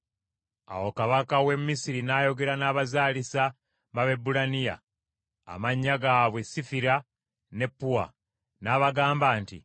Awo kabaka w’e Misiri n’ayogera n’abazaalisa b’Abaebbulaniya, amannya gaabwe Sifira ne Puwa , n’abagamba nti,